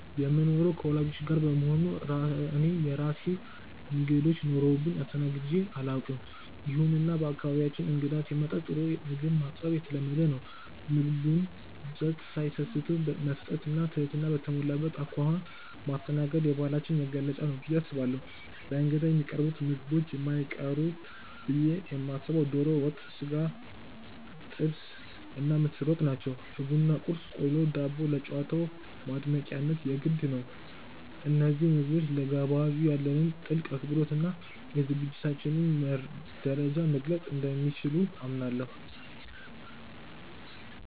የምኖረው ከወላጆቼ ጋር በመሆኑ እኔ የራሴ እንግዶች ኖረውብኝ አስተናግጄ አላውቅም። ይሁንና በአካባቢያችን እንግዳ ሲመጣ ጥሩ ምግብ ማቅረብ የተለመደ ነው። የምግቡን ብዛት ሳይሰስቱ መስጠት እና ትህትና በተሞላበት አኳኋን ማስተናገድ የባህላችን መገለጫ ነው ብዬ አስባለሁ። ለእንግዳ ከሚቀርቡት ምግቦች የማይቀሩት ብዬ የማስበው ዶሮ ወጥ፣ የሥጋ ጥብስ እና ምስር ወጥ ናቸው። የቡና ቁርስ (ቆሎ፣ ዳቦ) ለጨዋታው ማድመቂያነት የግድ ነው። እነዚህ ምግቦች ለጋባዡ ያለንን ጥልቅ አክብሮት እና የዝግጅታችንን ደረጃ መግለፅ እንደሚችሉ አምናለሁ።